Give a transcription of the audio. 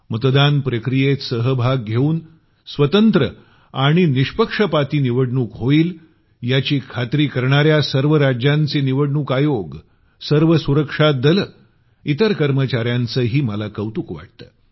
मतदान प्रक्रियेत सहभाग घेऊन स्वतंत्र आणि निष्पक्षपाती निवडणूक होईल याची खात्री करणाऱ्या सर्व राज्यांचे निवडणूक आयोग सर्व सुरक्षा दले इतर कर्मचार्यांचंही मला कौतुक वाटतं